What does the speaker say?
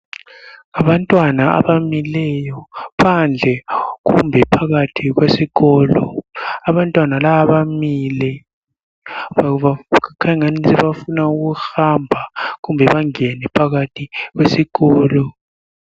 Abantwana abamileyo phandle kumbe phakathi kwesikolo abantwana laba bamile ngoba kukhanya engani bafuna ukuhamba kumbe bangene phakathi kwesikolo.